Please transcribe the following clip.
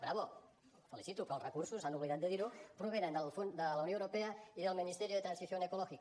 bravo els felicito però els recursos s’han oblidat de dir ho provenen de la unió europea i del ministerio de transición ecológica